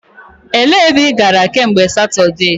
E lee ebe ị gara kemgbe Satudee?